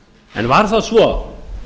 en var það svo